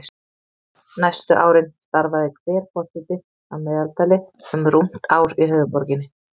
Næstu árin starfaði hver forseti að meðaltali um rúmt ár í höfuðborginni.